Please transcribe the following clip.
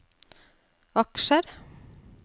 aksjer